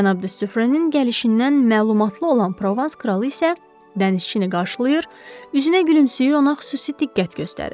Cənab de Sufrənin gəlişindən məlumatlı olan Provans kralı isə dənizçini qarşılayır, üzünə gülümsəyir, ona xüsusi diqqət göstərir.